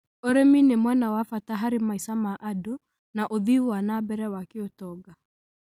ũrĩmi nĩ mwena wa bata harĩ maica ma andũ na ũthii wa na mbere wa kĩũtonga.